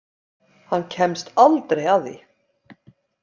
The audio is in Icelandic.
Hann kemst aldrei að því.